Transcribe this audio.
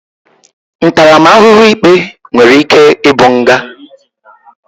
Ntaramahuhu ikpe nwere ike i bu nga.